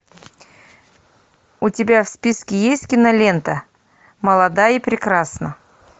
у тебя в списке есть кинолента молода и прекрасна